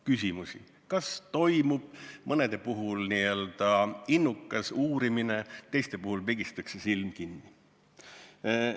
Küsimusi, kas toimub mõnede puhul n-ö innukas uurimine, teiste puhul pigistatakse silm kinni, jätkub.